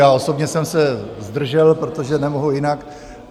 Já osobně jsem se zdržel, protože nemohu jinak.